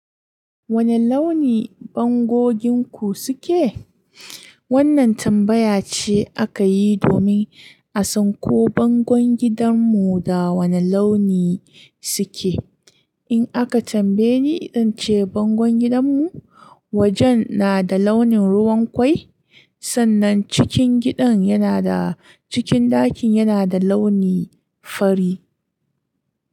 Wane launi bangonku suke? Wannan tambaya ce aka yi domin a san ko bangon gidanmu da wane launi suke. Idan aka tambaye ni cewa bangon gidanmu, wajen na da launin ruwan kwai sannan cikin gidan yana da cikin ɗakuna suna da launi fari.